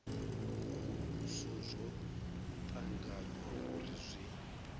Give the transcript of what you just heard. muvhuso zwo tanganywa uri zwi